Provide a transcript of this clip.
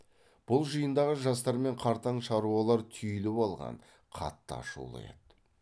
бұл жиындағы жастар мен қартаң шаруалар түйіліп алған қатты ашулы еді